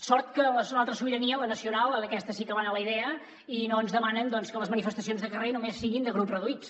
sort que en l’altra sobirania la nacional en aquesta sí que van a la idea i no ens demanen que les manifestacions de carrer només siguin de grups reduïts